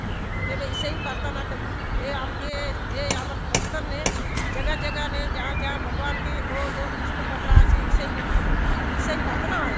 तेबे ईसाई पार ता ना करई ये आमके ये आमर बस्तर ने जगह - जगह ने जहाँ - जहाँ भगवान के दो - दो किस्त करला आचे ईसाई बलि करि ईसाई --